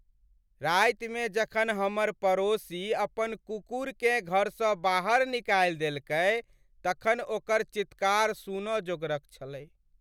रातिमे जखन हमर पड़ोसी अपन कुकुरकेँ घरसँ बाहर निकालि देलकै तखन ओकर चीत्कार सुन जोगरक छलैक।